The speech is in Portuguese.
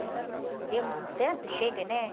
De ter um tanto, e chega, né?